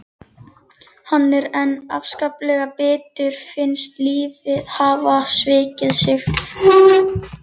Hann er enn afskaplega bitur, finnst lífið hafa svikið sig.